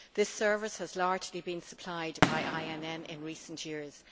This service has largely been supplied by INN in recent years.